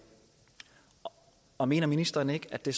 og mener ministeren ikke at det